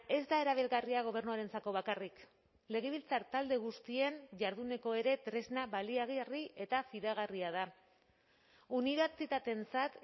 ez da erabilgarria gobernuarentzako bakarrik legebiltzar talde guztien jarduneko ere tresna baliagarri eta fidagarria da unibertsitateentzat